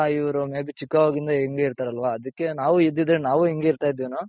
ಇವ್ರು may be ಚಿಕ್ಕವಗಿಂದ ಹಿoಗೆ ಇರ್ತಾರಲ್ವ ಅದಕ್ಕೆ ನಾವು ಇದ್ದಿದ್ರೆ ನಾವು ಹಿಂಗೆ ಇರ್ತಾ ಇದ್ವೇನೋ?